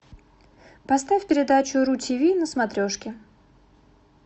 поставь передачу ру ти ви на смотрешке